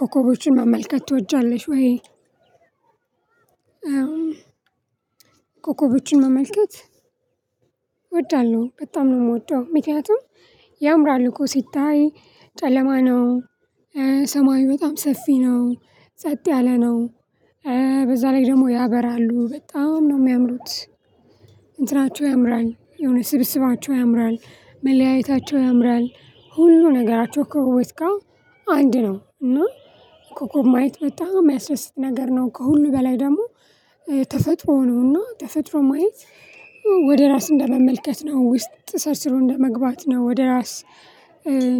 ኮከቦችን መመልከት ትወጃለሽ ወይ? በ ኮኮቦችን መመልከት እወዳለሁ በጣም ነው የምወደው። ምክንያቱም ያምራል እኮ ሲታይ ጨለማ ነው ሰማዩ በጣም ሰፊ ነው ጸጥ ያለ ነው። በዛ ላይ ደሞ ያበራሉ በጣም ነው የሚያምሩት። እንትናቸው ያምራል የሆነ ስብስባቸው ያምራል መለያየታቸው ያምራል ሁሉ ነገራቸው ከወር እስከ ወር። አንድ ነው እና ኮኮብ ማየት በጣም የሚያስደስት ነገር ነው ከሁሉ በላይ ደግሞ ተፈጥሮን ነውና ተፈጥሮ ማየት። ወደ ራስ እንደመመልከት ነው ውስጥ ሰርሰሮ እንደመግባት ነው ወደ ራስ